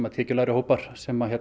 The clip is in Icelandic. tekjulágir hópar sem